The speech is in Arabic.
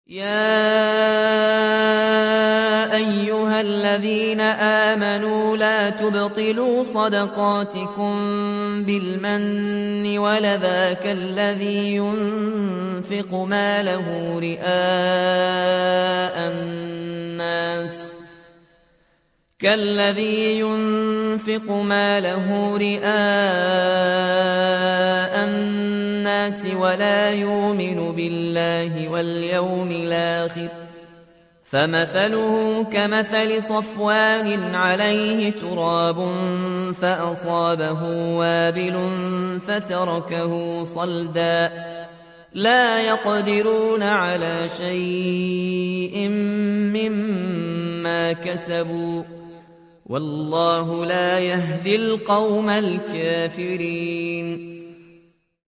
يَا أَيُّهَا الَّذِينَ آمَنُوا لَا تُبْطِلُوا صَدَقَاتِكُم بِالْمَنِّ وَالْأَذَىٰ كَالَّذِي يُنفِقُ مَالَهُ رِئَاءَ النَّاسِ وَلَا يُؤْمِنُ بِاللَّهِ وَالْيَوْمِ الْآخِرِ ۖ فَمَثَلُهُ كَمَثَلِ صَفْوَانٍ عَلَيْهِ تُرَابٌ فَأَصَابَهُ وَابِلٌ فَتَرَكَهُ صَلْدًا ۖ لَّا يَقْدِرُونَ عَلَىٰ شَيْءٍ مِّمَّا كَسَبُوا ۗ وَاللَّهُ لَا يَهْدِي الْقَوْمَ الْكَافِرِينَ